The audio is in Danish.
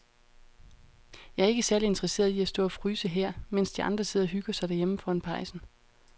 Jeg er ikke særlig interesseret i at stå og fryse her, mens de andre sidder og hygger sig derhjemme foran pejsen.